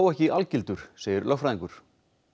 ekki algildur segir lögfræðingur